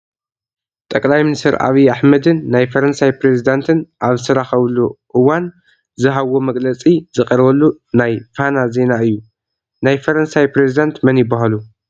ጠቅላይ ሚኒስትር ዓብዪ ኣሕመድን ናይ ፈረንሳይ ፕሬዚዳንትን ኣብ ዝተራኸቡሉ እውና ዝሃብዎ መግለፂ ዝቐረበሉ ናይ ፋና ዚና እዩ፡፡ ናይ ፈረንሳይ ፕሬዚዳንት መን ይበሃሉ?